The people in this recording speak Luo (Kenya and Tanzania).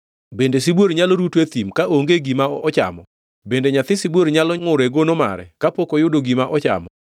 Bende sibuor nyalo ruto e thim ka oonge gi gima ochamo? Bende nyathi sibuor nyalo ngʼur e gono mare kapok oyudo gima ochamo?